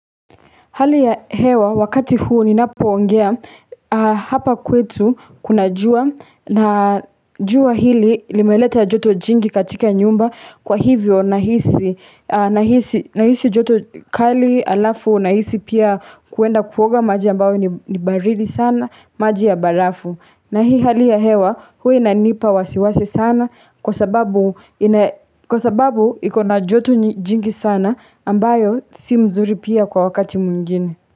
Hali ya hewa wakati huu ninapoongea hapa kwetu kuna jua na jua hili limeleta joto jingi katika nyumba kwa hivyo nahisi joto kali alafu nahisi pia kuenda kuoga maji ambao ni baridi sana maji ya barafu. Na hii hali ya hewa huwa inanipa wasiwasi sana kwa sababu ikona joto jingi sana ambayo si mzuri pia kwa wakati mwingine.